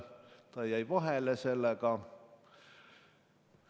Ta jäi vahele sellega.